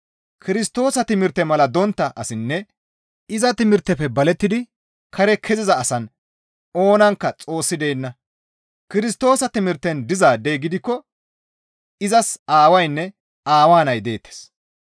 Kirstoosa timirte mala dontta asinne iza timirtefe balettidi kare keziza asan oonankka Xoossi deenna; Kirstoosa timirten dizaadey gidikko izas Aawaynne Aawaa Nay deettes.